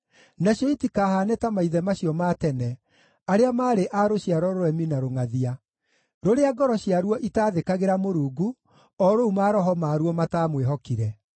Nacio itikahaane ta maithe macio ma tene, arĩa maarĩ a rũciaro rũremi na rũngʼathia, rũrĩa ngoro ciaruo itaathĩkagĩra Mũrungu, o rũu maroho maaruo mataamwĩhokire.